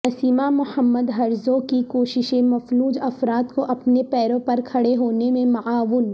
Nasima Mohammed Harzoq کی کوششیں مفلوج افراد کو اپنے پیروں پر کھڑے ہونے میں معاون